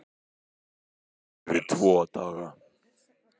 Þú færð tvo daga.